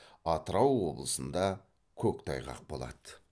атырау облысында көктайғақ болады